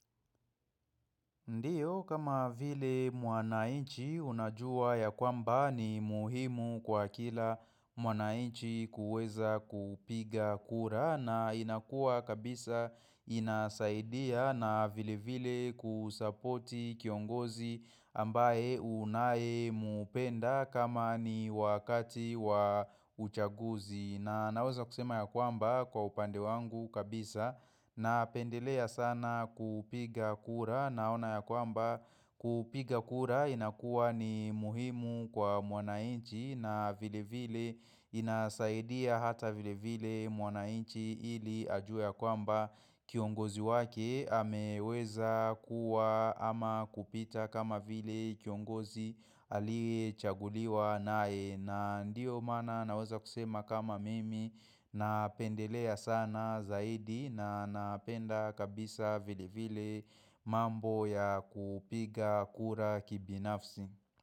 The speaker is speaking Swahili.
Ndiyo kama vile mwanainchi unajua ya kwamba ni muhimu kwa kila mwanainchi kuweza kupiga kura na inakua kabisa inasaidia na vile vile kusapoti kiongozi ambaye unae mupenda kama ni wakati wa uchaguzi. Na naweza kusema ya kwamba kwa upande wangu kabisa napendelea sana kupiga kura naona ya kwamba kupiga kura inakua ni muhimu kwa mwana inchi na vile vile inasaidia hata vile vile mwanainchi ili ajue ya kwamba kiongozi wake ameweza kuwa ama kupita kama vile kiongozi aliechaguliwa nae. Na ndio maana naweza kusema kama mimi napendelea sana zaidi na napenda kabisa vile vile mambo ya kupiga kura kibinafsi.